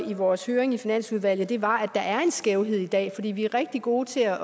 i vores høring i finansudvalget yderfløj var at der er en skævhed i dag for vi er rigtig gode til at